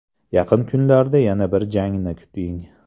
Yaqin kunlarda yana bir jangni kuting.